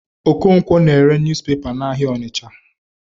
Okonkwo na-ere newspaper n'ahịa Ọnịcha.